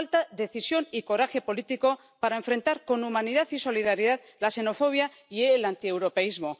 Falta decisión y coraje político para enfrentar con humanidad y solidaridad la xenofobia y el antieuropeísmo.